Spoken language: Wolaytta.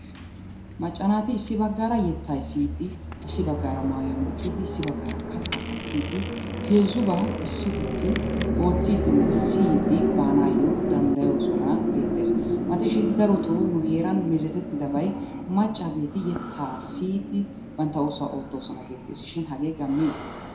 Macca naati issi baggaara yettaa yexxiiddi issi baggaara mayiwa meecciiddi issi baggaara kattaa kattiiddi heezzubaa issi gutti oottiiddi ne siyiiddi baanaayyo danddayoosona geettees. Matishin daroto nu heeran meezetettidabay maccaageeti yettaa siyiiddi bantta oosuwa oottoosona geetteesishin hagee gammee?